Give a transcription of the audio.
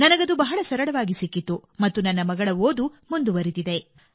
ನನಗದು ಬಹಳ ಸರಳವಾಗಿ ಸಿಕ್ಕಿತು ಮತ್ತು ನನ್ನ ಮಗಳ ಓದು ಮುಂದುವರಿದಿದೆ